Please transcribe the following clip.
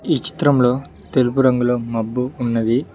ఈ చిత్రంలో తెలుపు రంగులో మబ్బు ఉన్నది.